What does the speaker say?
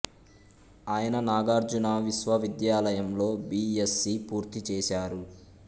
ఆయన నాగార్జున విశ్వవిద్యాలయంలో B S C పూర్తి చెసారు